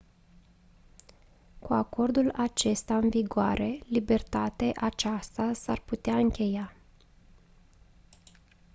cu acordul acesta în vigoare libertate aceasta s-ar putea încheia